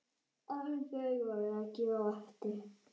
Aldrei var rekið á eftir.